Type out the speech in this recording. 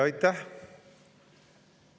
Aitäh!